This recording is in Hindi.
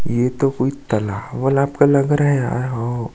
ये तो कोई तालाब वलाब का लग रहा है यार हो।